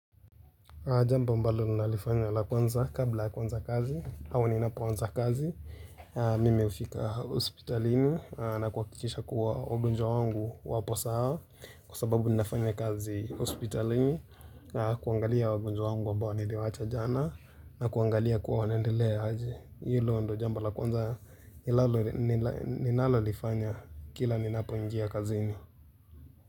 Jamba ambalo ninalifanya la kwanza kabla ya kuanza kazi, ua ninapoanza kazi, mimefika hospitalini na kuhakikisha kuwa wagonjwa wangu wa posa hawa kwa sababu ninafanya kazi hospitalini na kuangalia wagonjwa wangu ambao niliwaacha jana na kuangalia kuwa wanaendelea aje. Hilo ndio jambo la kwanza ninalo ninalolifanya kila ninapoingia kazini.